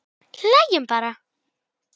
Hann stóð upp.